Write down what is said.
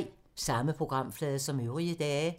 Samme programflade som øvrige dage